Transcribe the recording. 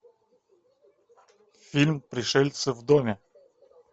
фильм пришельцы в доме